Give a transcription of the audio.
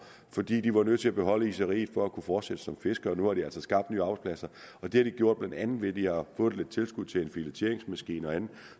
fordi de var nødt til at beholde iseriet for at kunne fortsætte som fiskere nu har de altså skabt nye arbejdspladser og det har de gjort blandt andet ved at de har fået et tilskud til en filetteringsmaskine og andet